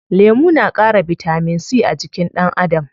Lemu na ƙara bitamin c a jikin ɗan Adam.